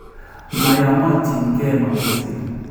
Mayamotiin ke mabusyeek